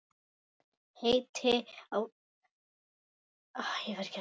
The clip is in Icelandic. Heiti á bekra annað er.